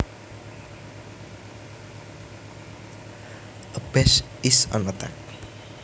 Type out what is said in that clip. A bash is an attack